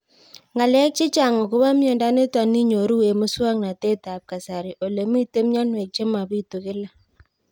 Ng'alek chechang' akopo miondo nitok inyoru eng' muswog'natet ab kasari ole mito mianwek che mapitu kila